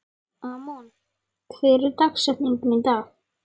Amon, hver er dagsetningin í dag?